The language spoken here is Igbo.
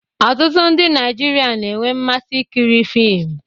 Ọtụtụ ndị Naijiria na-enwe mmasị ikiri fiim